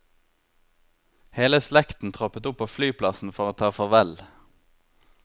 Hele slekten troppet opp på flyplassen for å ta farvel.